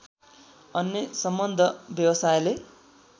अन्य सम्बद्ध व्यवसायले